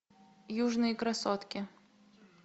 южные красотки